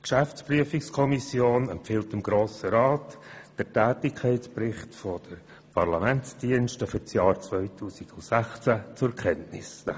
Die GPK empfiehlt dem Grossen Rat, den Tätigkeitsbericht der Parlamentsdienste für das Jahr 2016 zur Kenntnis zu nehmen.